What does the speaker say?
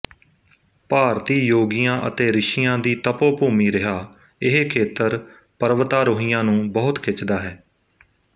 ਭਾਰਤੀ ਯੋਗੀਆਂ ਅਤੇ ਰਿਸ਼ੀਆਂ ਦੀ ਤਪੋਭੂਮੀ ਰਿਹਾ ਇਹ ਖੇਤਰ ਪਰਵਤਾਰੋਹੀਆਂ ਨੂੰ ਬਹੁਤ ਖਿੱਚਦਾ ਹੈ